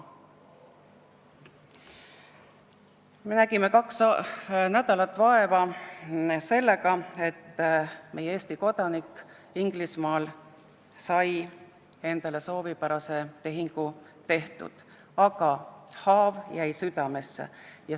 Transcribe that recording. " Me nägime kaks nädalat vaeva sellega, et Eesti kodanik Inglismaal saaks soovipärase tehingu tehtud, aga haav jäi südamesse.